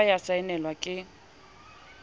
ya ba ya saenelwa ke